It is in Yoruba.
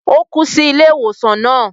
O kú sí ilé ìwòsàn náà